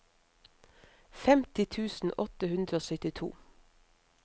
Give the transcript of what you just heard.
femti tusen åtte hundre og syttito